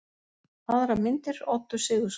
Aðrar myndir: Oddur Sigurðsson.